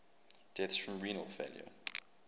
deaths from renal failure